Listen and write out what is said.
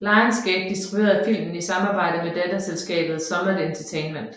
Lionsgate distribuerede filmen i samarbejde med datterselskabet Summit Entertainment